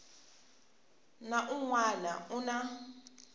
na un wana u na